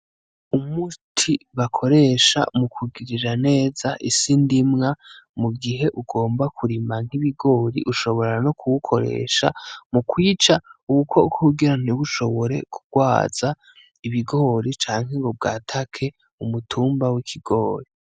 Umuti bakoresha mukugirira neza isi ndimwa mugihe ugomba kurima nk'ibigori, ushobora no kuwukoresha mukwica ubukoko kugira ntibushobore kugwaza ibigori canke ngo bwatake umutumba w'ikigori.